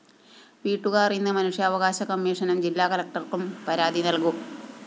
വീട്ടുകാര്‍ ഇന്ന് മനുഷ്യാവകാശ കമ്മീഷനും ജില്ലാകളക്ടര്‍ക്കും പരാതി നല്‍കും